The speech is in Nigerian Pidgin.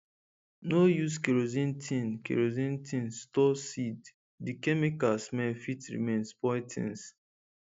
no use kerosene tin kerosene tin store seed the chemical smell fit remain spoil things